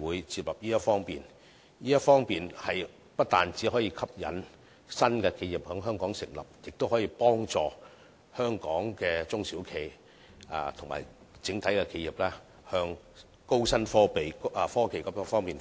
會接納這項建議，因為此舉不單可以吸引新的企業在香港成立，亦可幫助香港的中小企及整體企業向高新科技方面發展。